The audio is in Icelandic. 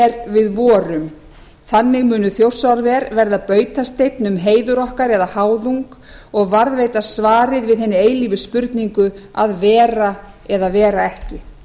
við vorum þannig munu þjórsárver verða bautasteinn um heiður okkar eða háðung og varðveita svarið við hinni eilífu spurningu að vera eða vera ekki